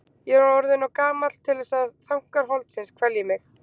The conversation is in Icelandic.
Ég er orðinn of gamall til þess að þankar holdsins kvelji mig.